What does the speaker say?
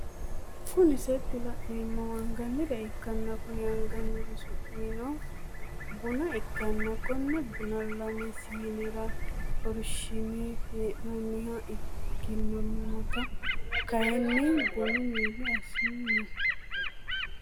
Kun8 laneemmohu anganire ikkanna Konni anganiri su'mi no buna ikkanna konne buna lame sinera xorshshine heenooniha ikkannamitu kaayiini buna milli assaranni no